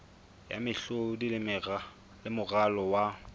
ya mehlodi le moralo wa